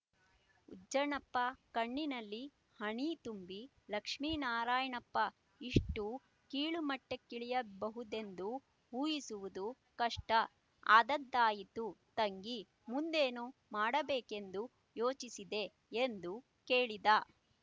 ಉಜ್ಜನಪ್ಪ ಕಣ್ಣಿನಲ್ಲಿ ಹನಿ ತುಂಬಿ ಲಕ್ಷ್ಮೀನಾರಾಯಣಪ್ಪ ಇಷ್ಟು ಕೀಳುಮಟ್ಟಕ್ಕಿಳಿಯಬಹುದೆಂದು ಊಹಿಸುವುದೂ ಕಷ್ಟ ಆದದ್ದಾಯಿತು ತಂಗಿ ಮುಂದೇನು ಮಾಡಬೇಕೆಂದು ಯೋಚಿಸಿದೆ ಎಂದು ಕೇಳಿದ